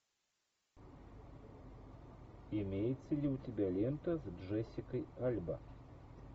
имеется ли у тебя лента с джессикой альба